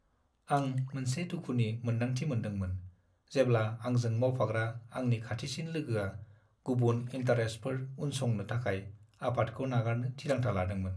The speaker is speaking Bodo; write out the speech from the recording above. आं मोनसे दुखुनि मोनदांथि मोनदोंमोन, जेब्ला आंजों मावफाग्रा आंनि खाथिसिन लोगोआ गुबुन इन्टारेस्टफोर उनसंनो थाखाय आफादखौ नागारनो थिरांथा लादोंमोन।